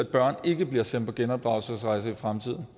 børn ikke bliver sendt på genopdragelsesrejser i fremtiden